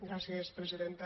gràcies presidenta